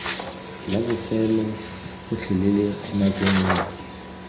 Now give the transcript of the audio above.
la bofelo gotlhelele nako nngwe